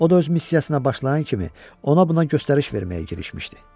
O da öz missiyasına başlayan kimi ona-buna göstəriş verməyə girişmişdi.